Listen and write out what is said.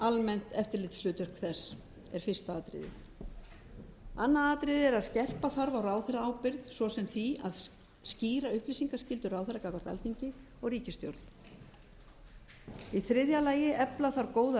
almennt eftirlitshlutverk þess annars skerpa þarf á ráðherraábyrgð svo sem með því að skýra upplýsingaskyldu ráðherra gagnvart alþingi og ríkisstjórn þriðja efla þarf góða